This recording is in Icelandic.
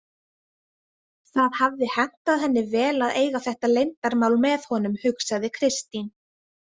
Það hafði hentað henni vel að eiga þetta leyndarmál með honum, hugsaði Kristín.